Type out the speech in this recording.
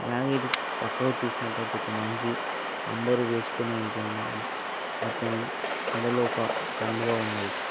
అలాగే ఇటు పక్కకు చుసినట్టాయితే ఒకటి మనిషి వెస్కొని ఉంటున్నాడు అతని మెడలో ఒక కండువా ఉన్నది.